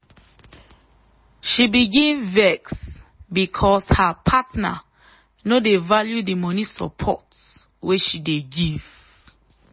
she begin vex because her partner no dey value the money support wey she dey give.